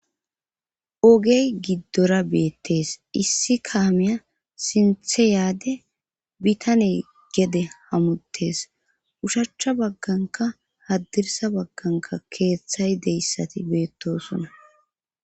ogey giddora beettes issi kaameya sinthe yaade bitane gede hamutes ushachcha bagganka haddirsa bagganka keeththay deyssati beettosona